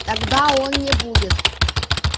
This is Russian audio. тогда он не будет